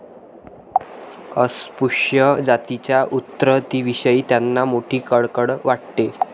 अस्पृश्य जातींच्या उन्नतीविषयी त्यांना मोठी कळकळ वाटे.